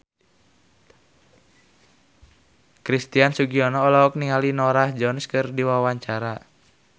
Christian Sugiono olohok ningali Norah Jones keur diwawancara